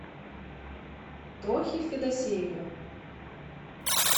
тохи федосеева